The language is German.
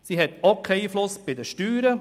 Sie hat auch keinen Einfluss auf die Steuern.